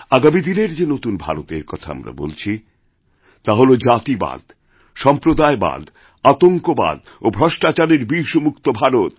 আগামী দিনের যে নতুন ভারতের কথা আমরা বলছি তা হল জাতিবাদসম্প্রদায়বাদ আতঙ্কবাদ ও ভ্রষ্টাচারের বিষমুক্ত ভারত